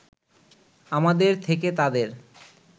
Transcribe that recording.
আমাদের থেকে তাদের